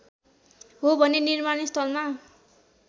हो भने निर्माणस्थलमा